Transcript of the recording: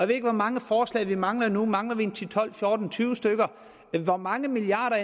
ved ikke hvor mange forslag vi mangler nu mangler vi ti tolv fjorten tyve stykker hvor mange milliarder